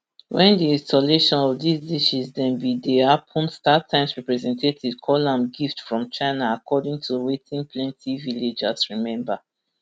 wen di installation of dis dishes dem bin dey happun startimes representatives call am gift from china according to wetin plenti villagers remember